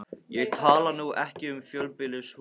Ég tala nú ekki um í fjölbýlishúsi.